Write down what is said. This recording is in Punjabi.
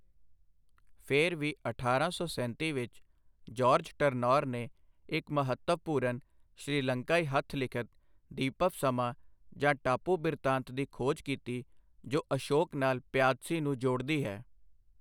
ਫਿਰ ਵੀ, ਅਠਾਰਾਂ ਸੌ ਸੈਂਤੀ ਵਿੱਚ, ਜਾਰਜ ਟਰਨੌਰ ਨੇ ਇੱਕ ਮਹੱਤਵਪੂਰਨ ਸ਼੍ਰੀਲੰਕਾਈ ਹੱਥ ਲਿਖਤ ਦੀਪਵਮਸਾ, ਜਾਂ 'ਟਾਪੂ ਬਿਰਤਾਂਤ' ਦੀ ਖੋਜ ਕੀਤੀ ਜੋ ਅਸ਼ੋਕ ਨਾਲ ਪਿਆਦਸੀ ਨੂੰ ਜੋੜਦੀ ਹੈ।